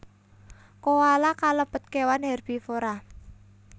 Koala kalebet kewan hèrbivora